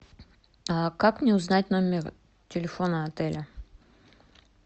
как мне узнать номер телефона отеля